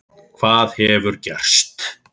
Hvað hefur gerst?